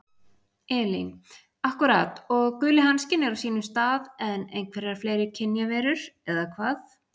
Elín: Akkúrat og guli hanskinn er á sínum stað en einhverjar fleiri kynjaverur, eða hvað?